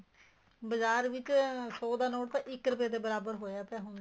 ਬਾਜ਼ਾਰ ਵਿੱਚ ਸੋ ਰੁਪਏ ਦਾ ਨੋਟ ਤਾਂ ਇੱਕ ਰੁਪਏ ਦੇ ਬਰਾਬਰ ਹੋਇਆ ਪਿਆ ਹੈ ਹੁਣ ਤਾਂ